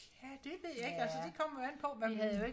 ja det ved jeg ikke altså det kommer jo an på hvad man